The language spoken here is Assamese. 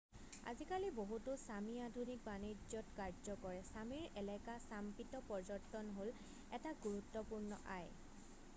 আজিকালি বহুতো ছামি আধুনিক বাণিজ্যত কাৰ্য কৰে ছামিৰ এলেকা ছাম্পিত পৰ্যটন হ'ল এটা গুৰুত্বপূৰ্ণ আয়